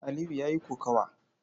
Aliyu ya yi kokawa.